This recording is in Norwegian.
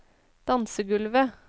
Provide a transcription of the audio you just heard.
dansegulvet